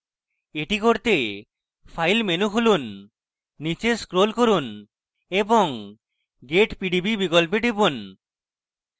এটি করতে file menu খুলুন নীচে scroll করুন এবং get pdb বিকল্পে টিপুন